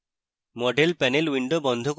model panel window বন্ধ করুন